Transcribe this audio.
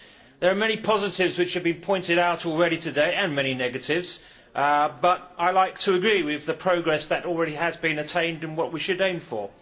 There are many positives which have been pointed out already today and many negatives but I would like to agree with the progress that has already been made and what we should aim for.